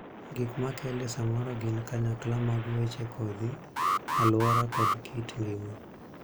Gik ma kele samoro gin kanyakla mag weche kodhi, aluora, kod kit ngima.